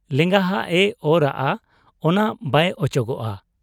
ᱞᱮᱸᱜᱟᱦᱟᱜ ᱮ ᱚᱨᱟᱜ ᱟ ᱚᱱᱟ ᱵᱟᱭ ᱚᱪᱚᱜᱚᱜ ᱟ ᱾